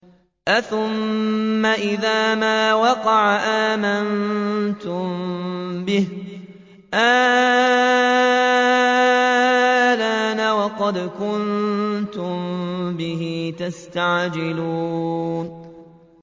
أَثُمَّ إِذَا مَا وَقَعَ آمَنتُم بِهِ ۚ آلْآنَ وَقَدْ كُنتُم بِهِ تَسْتَعْجِلُونَ